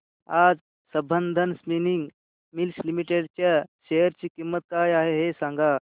आज Sambandam spinning mills limited च्या share ची किंमत काय आहे हे सांगा